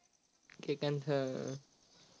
केकांत sir